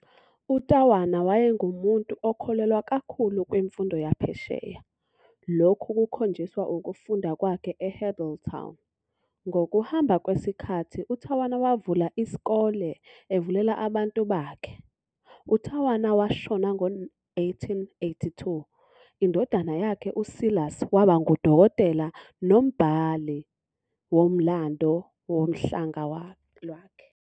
UTawana wayengumuntu okholelwa kakhulu kwi-mfundo yaphesheya, lokhu kukhonjiswa ukufunda kwakhe eHeadltown, ngokuhamba kwesikhathi uTawana wavula isikole evulela abantu bakhe. UTawana washona ngo-1882, indodana yakhe uSilas waba ngu-Dokotela nombhali womlando wohlanga lwakhe.